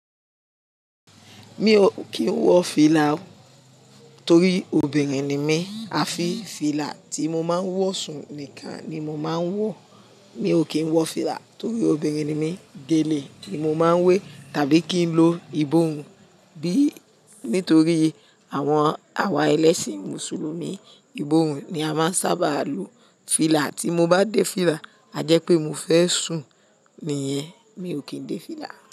Mi ò kí ń wọ fìlà torí obìnrin ni mí, a fi fìlà tí mo máa ń wọ sùn nìkan ni mo máa ń wọ. Mi ò kí ń wọ fìlà torí obìnrin ni mí, gèlè ni mo máa ń wé tàbí kí n lo ìbòrùn bí nítorí àwọn àwa ẹlẹ́sìn Mùsùlùmí, ìbòrùn ni a máa ń sábà lo. Fìlà tí mo bá dé fìlà, a jẹ́ pé mo fẹ́ sùn nìyẹn. Mi ò kín dé fìlà.